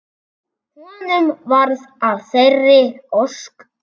Honum varð að þeirri ósk.